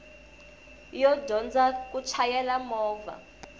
yo dyondza ku chayela movha